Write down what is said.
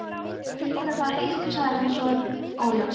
Ég flippaði bara eitthvað- sagði hann svo óljóst.